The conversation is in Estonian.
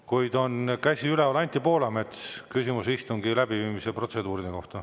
Kuid on käsi üleval: Anti Poolamets, küsimus istungi läbiviimise protseduuride kohta.